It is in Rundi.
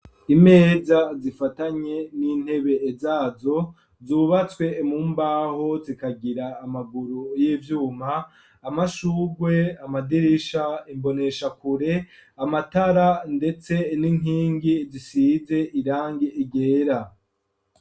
Imeza zifatanye n'intebe zazo zubatswe mu mbaho zikagira amaguru y'ivyuma amashurwe, amadirisha, imboneshakure, amatara ndetse n'inkingi zisize irangi ryera.